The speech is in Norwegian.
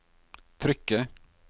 trykket